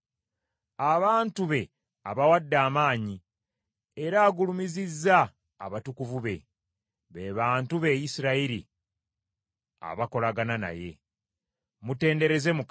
Abantu be abawadde amaanyi, era agulumizizza abatukuvu be, be bantu be Isirayiri abakolagana naye. Mutendereze Mukama .